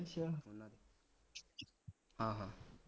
ਹਾਂ ਹਾਂ